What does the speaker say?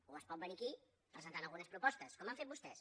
o es pot venir aquí presentant algunes propostes com han fet vostès